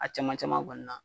A caman caman kɔni na.